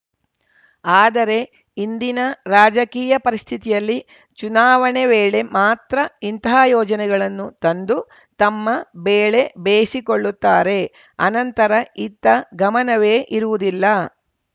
ಆದರೆ ಇಂದಿನ ರಾಜಕೀಯ ಪರಿಸ್ಥಿತಿಯಲ್ಲಿ ಚುನಾವಣೆ ವೇಳೆ ಮಾತ್ರ ಇಂತಹ ಯೋಜನೆಗಳನ್ನು ತಂದು ತಮ್ಮ ಬೇಳೆ ಬೇಸಿಕೊಳ್ಳುತ್ತಾರೆ ಅನಂತರ ಇತ್ತ ಗಮನವೇ ಇರುವುದಿಲ್ಲ